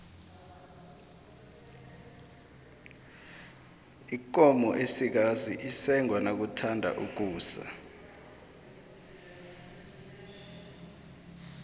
ikomo esikazi isengwa nakuthatha ukusa